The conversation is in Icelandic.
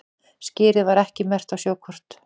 Skerið var ekki merkt á sjókort